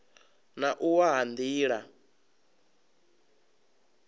na u wa ha nila